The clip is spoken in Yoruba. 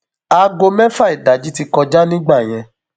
aago mẹfà ìdájí ti kọjá nígbà yẹn